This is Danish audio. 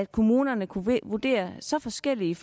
kommunerne kunne vurdere så forskelligt